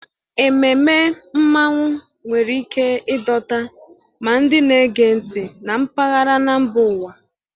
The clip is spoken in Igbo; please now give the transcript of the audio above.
Ememme Mmanwụ nwere ike ịdọta ma ndị na-ege ntị na mpaghara na mba ụwa.